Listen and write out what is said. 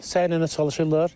Səylə çalışırlar.